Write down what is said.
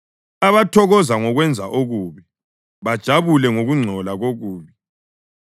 abathokoza ngokwenza okubi bajabule ngokungcola kokubi,